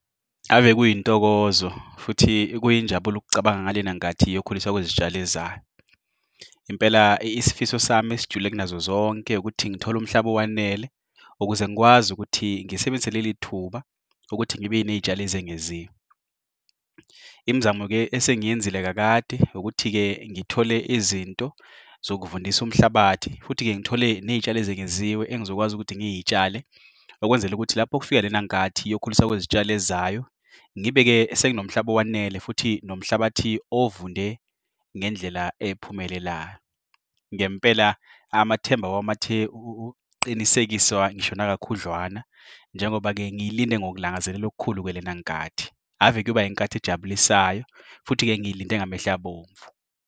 Ave kuyintokozo futhi kuyinjabulo ukucabanga ngalenkathini kuyokhulisa kwezitshalo ezayo. Impela isifiso sami sijule kunazozonke, ukuthi ngithole umhlaba olwanele. Ukuze ngikwazi ukuthi ngisebenzise lelithuba, ukuthi ngibe ney'tshalo ezingeziwe. Imizamo-ke esengiyenzile kakade, ukuthi-ke ngithole izinto zokuvundisa umhlabathi. Futhi-ke, ngithole ney'tshalo ezingeziwe engizokwazi ukuthi ngiyitshalile. Okwenzela ukuthi lapho kufika lenankathi kuyokhulisa kwezitshalo ezayo, ngibheke senginomhlangano owanele. Futhi nomhlabathi ovunde ngendlela ephumelela. Ngempela amathemba awami athe ukuqinisekiswa ngishona nakakhudlwana. Njengoba-ke ngilinde ngokulangazela okhulu ke lenankathi. Ave kuyoba inkathi ejabulisayo, futhi-ke ngilinde ngamehlo abomvu.